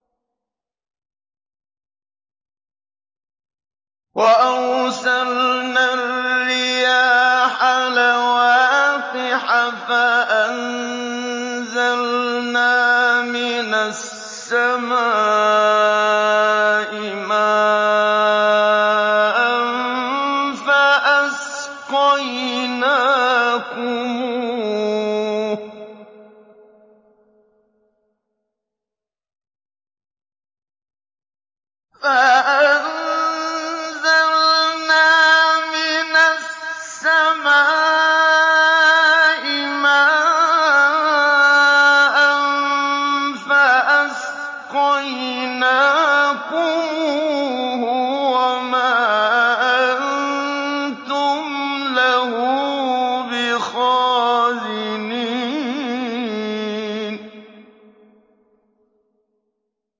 وَأَرْسَلْنَا الرِّيَاحَ لَوَاقِحَ فَأَنزَلْنَا مِنَ السَّمَاءِ مَاءً فَأَسْقَيْنَاكُمُوهُ وَمَا أَنتُمْ لَهُ بِخَازِنِينَ